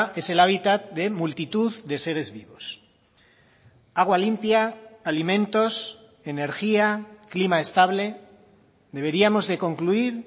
es el hábitat de multitud de seres vivos agua limpia alimentos energía clima estable deberíamos de concluir